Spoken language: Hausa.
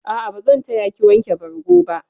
A'a, bazan taya ki wanke bargo ba.